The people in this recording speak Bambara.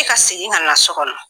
Ne ka segin ka na sokɔnɔ